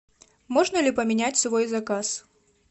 можно ли поменять свой заказ